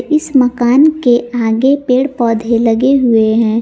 इस मकान के आगे पेड़ पौधे लगे हुए हैं।